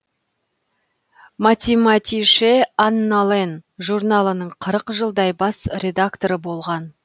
математише аннален журналының қырық жылдай бас редакторы болған